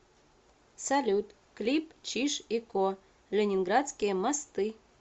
салют клип чиж и ко ленинградские мосты